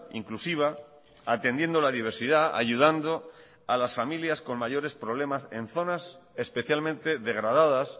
inclusiva atendiendo a la diversidad ayudando a las familias con mayores problemas